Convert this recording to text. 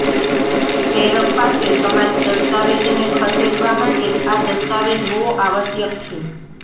પ્રેરક પાસે તમારી દસ્તાવેજને ખસેડવા માટે આ દસ્તાવેજ હોવો આવશ્યક છે